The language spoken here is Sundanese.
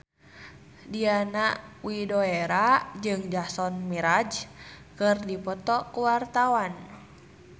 Diana Widoera jeung Jason Mraz keur dipoto ku wartawan